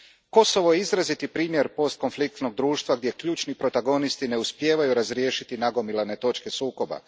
Kosovo je izraziti primjer postkonfliktnog društva gdje ključni protagonisti ne uspijevaju razriješiti nagomilane točke sukoba.